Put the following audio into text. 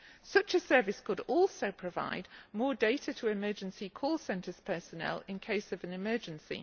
Such a service could also provide more data to emergency call centres' personnel in cases of emergency.